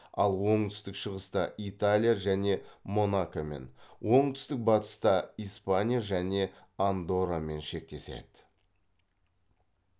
ал оңтүстік шығыста италия және монакомен оңтүстік батыста испания және андоррамен шектеседі